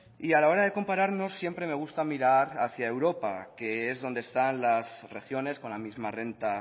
y a la hora de compararnos siempre me gusta mirar hacia europa que es donde están las regiones con la misma renta